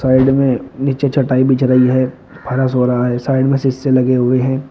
Side में नीचे चटाई बिछ रही है हो रहा है साइड में शीशे लगे हुए हैं।